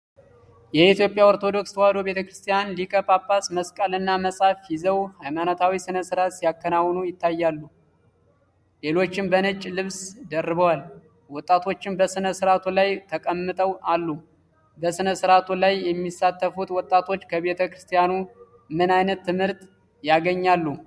የኢትዮጵያ ኦርቶዶክስ ተዋሕዶ ቤተ ክርስቲያን ሊቀ ጳጳስ መስቀልና መጽሐፍ ይዘው ሃይማኖታዊ ሥነ ሥርዓት ሲያከናውኑ ይታያል። ሌሎቹም በነጭ ልብስ ደርበዋል። ወጣቶችም በሥነ ሥርዓቱ ላይ ተቀምጠው አሉ። በሥነ ሥርዓቱ ላይ የሚሳተፉት ወጣቶች ከቤተ ክርስቲያኑ ምን ዓይነት ትምህርት ያገኛሉ?